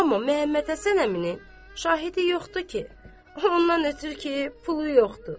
Amma Məhəmməd Həsən əminin şahidi yoxdur ki, ondan ötrü ki, pulu yoxdur.